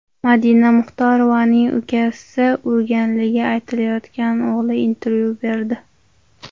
Madina Muxtorovaning ukasini urganligi aytilayotgan o‘g‘li intervyu berdi .